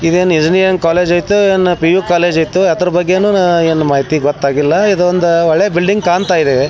ಇದೇನ್ ಇದೇನ್ ಇಜನಿಯನ್ ಕಾಲೇಜೈತಾ ಪಿ.ಯು ಕಾಲೇಜೈತಾ ಅದ್ರ ಬಗ್ಗೆನೂ ನಾ ಏನು ಮಾಹಿತಿ ಗೊತ್ತಾಗಿಲ್ಲಾ ಈದೊಂದ ಅಳೆ ಬಿಲ್ಡಿಂಗ್ ಕಾಂತಾ ಇದೆ.